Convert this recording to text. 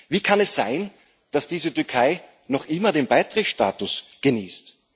Wie kann es sein, dass diese Türkei noch immer den Beitrittsstatus genießt?